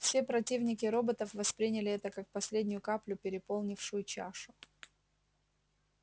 все противники роботов восприняли это как последнюю каплю переполнившую чашу